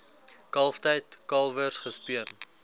kalftyd kalwers gespeen